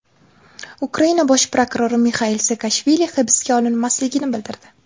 Ukraina bosh prokurori Mixail Saakashvili hibsga olinmasligini bildirdi.